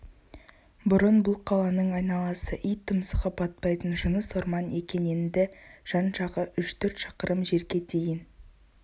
бұрын бұл қаланың айналасы ит тұмсығы батпайтын жыныс орман екен енді жан-жағы үш-төрт шақырым жерге дейін